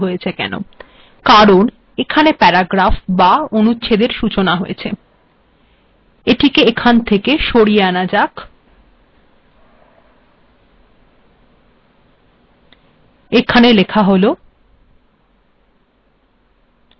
এটিকে এখন সরিয়ে আনা যাক